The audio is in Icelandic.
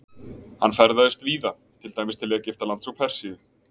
Hann ferðaðist víða, til dæmis til Egyptalands og Persíu.